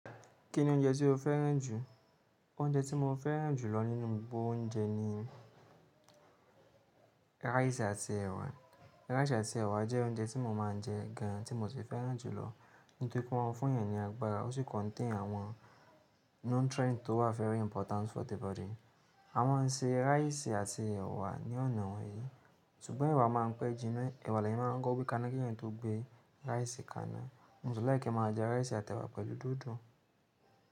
Kí ni oúnjẹ tí o fẹ́ràn jù? Oúnjẹ tí mo fẹ́ràn jù lọ nínú gbogbo oúnjẹ ni rice àti ẹ̀wà. Rice àti ẹ̀wà jẹ́ oúnjẹ tí mo máa ń jẹ gan an tí mo sì fẹ́ràn jù lọ. Nítorí pé wọ́n ń fún ènìyàn ní agbára, ó sì contain àwọn nutrient tó wà very important for the body. A máa ń se rice àti ẹ̀wà ní ọ̀nà wéé. Ṣùgbọ́n ẹ̀wà máa ń pẹ́ jíná, ẹ̀wà leyan máa ń kọkọ̀ gbé káná kí ènìyàn tó gbé rice kaná. Mo si like kì í máa jẹ rice àti ẹ̀wà pẹ̀lú dòdò.